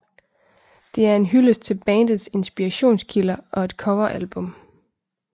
Det er en hyldest til bandets inspirations kilder og et cover album